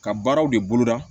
Ka baaraw de bolo da